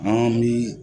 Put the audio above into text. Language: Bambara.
An bi